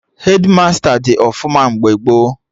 Hedmasta dị ọfụma mgbe gboo